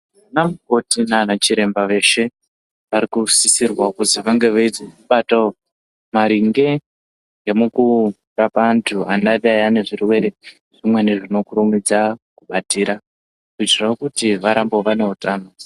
Anamukoti nanachiremba veshe varikusisirwawo kuzi vange veidzibatawo maringe ne mukurapa antu vanodai vane zvirwere zvimweni zvinokasira kubatira kuitira kuti vangewo vane utano.